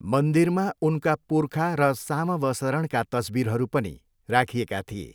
मन्दिरमा उनका पुर्खा र सामवसरणका तस्विरहरू पनि राखिएका थिए।